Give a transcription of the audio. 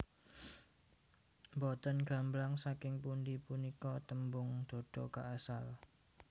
Mbotèn gamblang saking pundhi punika tèmbung dodo kaasal